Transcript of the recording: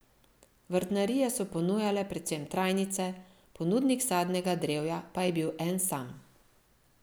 Vrtnarije so ponujale predvsem trajnice, ponudnik sadnega drevja pa je bil en sam.